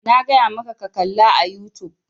Na gaya maka ka kalla a youtube!